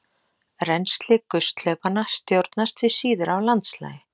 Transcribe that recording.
Rennsli gusthlaupanna stjórnast því síður af landslagi.